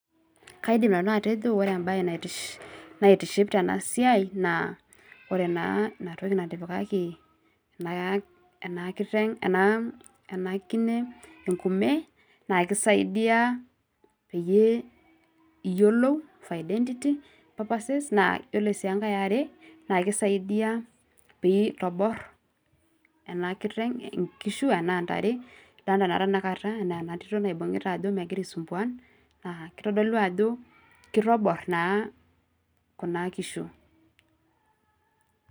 Kaidim nanu atejo ore ebae naitiship tenasiai, naa ore naa inatoki natipikaki enakiteng ena kine enkume, na kisaidia peyie iyiolou for identity purposes, naa yiolo si enkae eare, naa ekisaidia peyie itobor enakiteng inkishu enaa ntare, nadalta naa tanakata enatito naibung'ita ajo megira aisumbuan, naa kitodolu ajo kitobor naa kuna kishu.